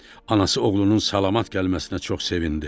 Anası oğlunun salamat gəlməsinə çox sevindi.